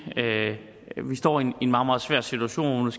står i en meget meget svær situation og